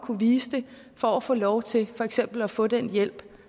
kunne vise det for at få lov til for eksempel at få den hjælp